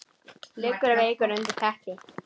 Liggur veikur undir teppi.